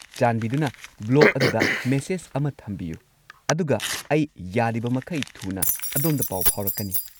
ꯆꯥꯟꯕꯤꯗꯨꯅ ꯕ꯭ꯂꯣꯒ ꯑꯗꯨꯗ ꯃꯦꯁꯦꯖ ꯑꯃ ꯊꯝꯕꯤꯌꯨ ꯑꯗꯨꯒ ꯑꯩ ꯌꯥꯔꯤꯕꯃꯈꯩ ꯊꯨꯅ ꯑꯗꯣꯝꯗ ꯄꯥꯎ ꯐꯥꯎꯔꯛꯀꯅꯤ ꯫